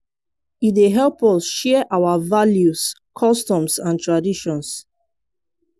e dey help us share our values customs and traditions.